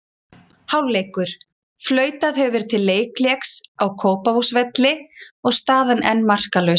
Hálfleikur: Flautað hefur verið til leikhlés á Kópavogsvelli og staðan enn markalaus.